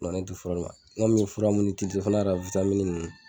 ne tɛ fura d'u ma n kɔni fura mun fo n'a kera ninnu